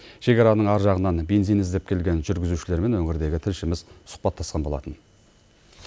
шекараның ар жағынан бензин іздеп келген жүргізушілермен өңірдегі тілшіміз сұхбаттасқан болатын